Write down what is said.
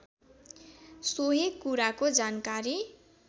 सोही कुराको जानकारी